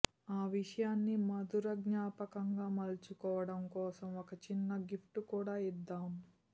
ఆ విషయాన్ని మధుర జ్ఞాపకం గా మలుచుకోవడం కోసం ఒక చిన్న గిఫ్ట్ కూడా ఇద్దాం